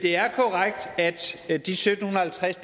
at sytten halvtreds